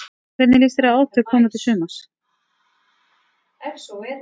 Hvernig líst þér á átök komandi sumars?